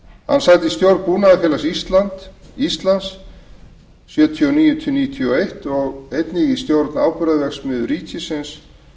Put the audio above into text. fjögur í stjórn búnaðarfélags íslands var hann nítján hundruð sjötíu og níu til nítján hundruð níutíu og eins og í stjórn áburðarverksmiðju ríkisins